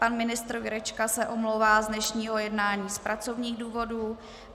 Pan ministr Jurečka se omlouvá z dnešního jednání z pracovních důvodů.